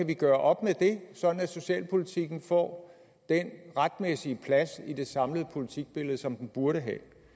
kan gøre op med det sådan at socialpolitikken får den retmæssige plads i det samlede politikbillede som den burde